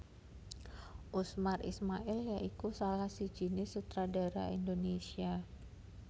Usmar Ismail ya iku salah sijiné sutradara Indonésia